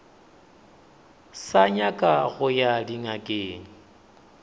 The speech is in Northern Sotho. sa nyaka go ya dingakeng